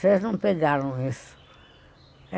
Vocês não pegaram isso.